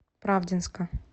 правдинска